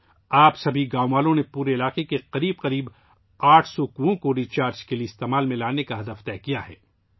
اب تمام گاؤں والوں نے ری چارجنگ کے لیے پورے علاقے میں تقریباً 800 کنویں استعمال کرنے کا ہدف مقرر کیا ہے